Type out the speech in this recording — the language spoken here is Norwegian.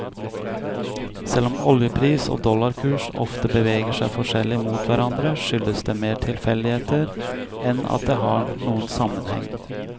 Selv om oljepris og dollarkurs ofte beveger seg forskjellig mot hverandre, skyldes det mer tilfeldigheter enn at det har noen sammenheng.